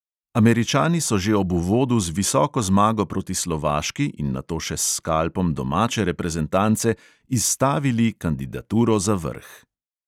Američani so že ob uvodu z visoko zmago proti slovaški in nato še s skalpom domače reprezentance izstavili kandidaturo za vrh.